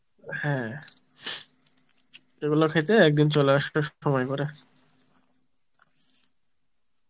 হ্যাঁ এগুলো খেতে একদিন চলে আসো সময় করে